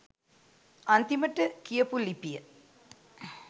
අන්තිමට කියපු ලිපිය